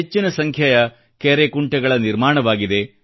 ಹೆಚ್ಚಿನ ಸಂಖ್ಯೆಯ ಕೆರೆ ಕುಂಟೆಗಳ ನಿರ್ಮಾಣವಾಗಿದೆ